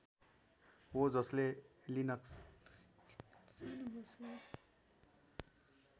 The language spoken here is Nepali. हो जसले लिनक्स